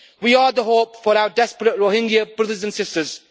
We are the hope for our desperate Rohingya brothers and sisters.